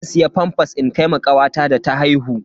Zan siya famfas in kai ma kawata da ta haihu.